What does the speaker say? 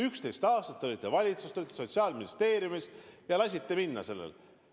11 aastat olite valitsuses, Sotsiaalministeeriumis, ja lasite sellel võimalusel minna.